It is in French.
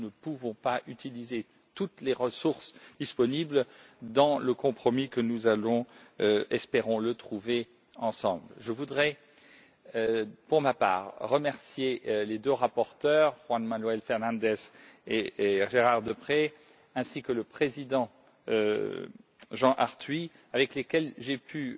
Nous ne pouvons pas utiliser toutes les ressources disponibles dans le compromis que nous allons, espérons le, trouver ensemble. Je voudrais pour ma part remercier les deux rapporteurs, José Manuel Fernandes et Gérard Deprez, ainsi que le président Jean Arthuis, avec lesquels j'ai pu